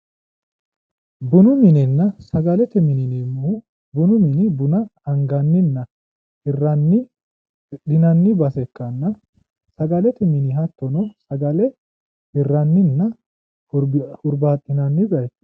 Bunu minenna sagalete mine yineemmohu, bunu mini buna anganninna hirranni hidhinanni base ikkanna, sagalete mini hattono sagale hirranninna hurbaaxinanni bayiicho.